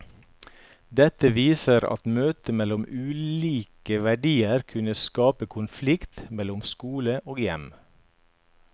Dette viser at møtet mellom ulike verdier kunne skape konflikt mellom skole og hjem.